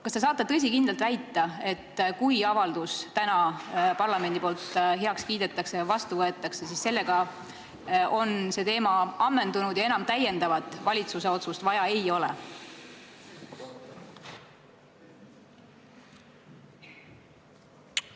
Kas te saate tõsikindlalt väita, et kui parlament täna avalduse heaks kiidab ja vastu võtab, siis on see teema ammendunud ja täiendavat valitsuse otsust enam vaja ei ole?